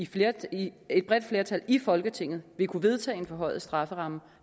flertal i flertal i folketinget vil kunne vedtage en forhøjet strafferamme